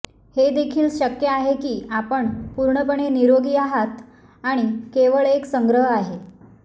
हे देखील शक्य आहे की आपण पूर्णपणे निरोगी आहात आणि केवळ एक संग्रह आहे